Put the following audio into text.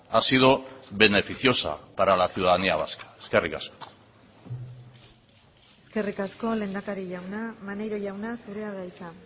ha sido beneficiosa para la ciudadanía vasca eskerrik asko eskerrik asko lehendakari jauna maneiro jauna zurea da hitza